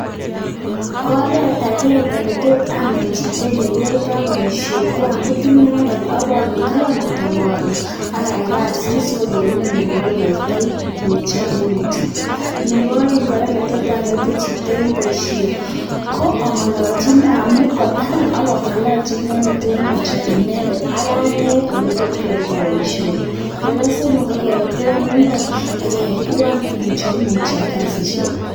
Oret agenge netot anet chito ole kiyaitoi boisiet ko amuut inendet ipondee taban kotapot ak ayai kasit sikogeer ine ole ayaitoi mutyo eng mutyo. Nebo aeng kora, letot anete chito eng boisiet ko angalalchi amut kwo taban ak angalalchi inendet eng mutyo inendet ak anet ole tot kiyaita boisioni. Nebo somok, ko kebe tuwai imbaar ak keyai tuwai eng mutyo kasisiek.